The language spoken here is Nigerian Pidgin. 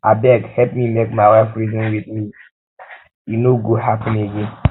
abeg help me make my wife reason um with me um with me e no go happen again